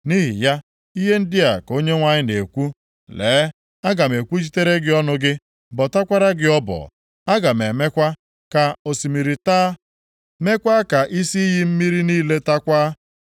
Nʼihi ya, ihe ndị a ka Onyenwe anyị na-ekwu, “Lee, aga m ekwuchitere gị ọnụ gị, bọtakwara gị ọbọ. Aga m emekwa ka osimiri taa, meekwa ka isi iyi mmiri niile taakwa.